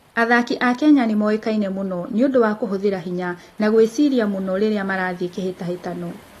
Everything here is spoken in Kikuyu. Athaki a Kenya nĩ moĩkaine mũno nĩ ũndũ wa kũhũthĩra hinya na gwĩciria mũno rĩrĩa marathiĩ kĩhĩtahĩtano.